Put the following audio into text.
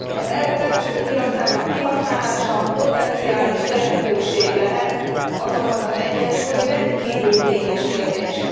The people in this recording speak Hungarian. Az EU belső piacának kihasználása potenciális lehetőség lehet, azonban az egyensúly rendkívül kényes kérdés.